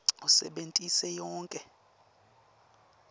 usebentise yonkhe